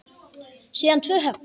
Síðan tvö högg.